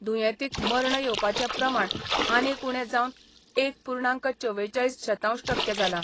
दुयेंतीक मर्ण येवपाचे प्रमाण आनीक उणे जावन एक पूर्णांक चवेचाळीस शतांश टक्के जाला.